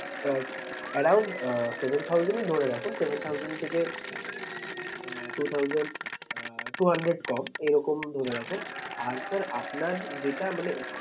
আঁ around আঁ seven thousand ই ধরে রাখুন seven thousand থেকে two thousand আঁ two hundred কম। এরকম ধরে রাখুন আর sir আপনার যেটা মানে